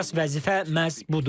Əsas vəzifə məhz budur.